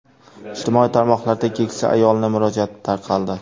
Ijtimoiy tarmoqlarda keksa ayolning murojaati tarqaldi.